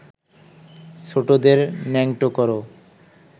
ছোটদের ন্যাংটো কর